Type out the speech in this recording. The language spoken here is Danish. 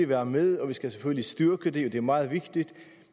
være med at vi skal styrke det og at det er meget vigtigt